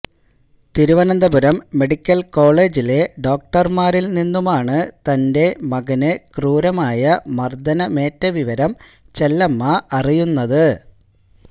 Thiruvananthapuram medical കോളേജിലെ ഡോക്ടര്മാരില് നിന്നുമാണ് തന്റെ മകന് ക്രൂരമായ മര്ദ്ദനമേറ്റ വിവരം ചെല്ലമ്മ അറിയുന്നത്